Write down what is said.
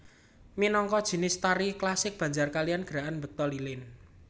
Minangka jinis tari klasik Banjar kaliyan gerakan mbekta lilin